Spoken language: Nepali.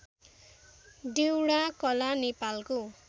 डेउडाकला नेपालको